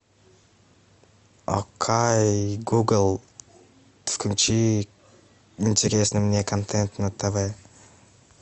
окей гугл включи интересный мне контент на тв